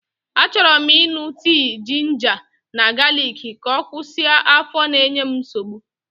Achọrọ m ịṅụ tii jinja na galiki ka ọ kwụsị afọ na-enye m nsogbu.